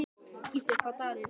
Ísdögg, hvaða dagur er í dag?